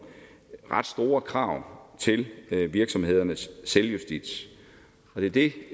ret store krav til virksomhedernes selvjustits og det er det